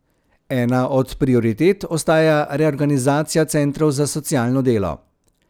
Ena od prioritet ostaja reorganizacija centrov za socialno delo.